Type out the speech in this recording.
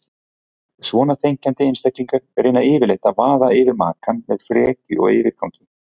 Svona þenkjandi einstaklingar reyna yfirleitt að vaða yfir makann með frekju og yfirgangi.